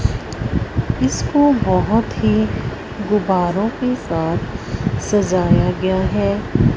इसको बहोत ही गुब्बारों के साथ सजाया गया है।